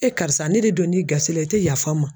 karisa ne de donn'i gasi la i tɛ yafa n ma.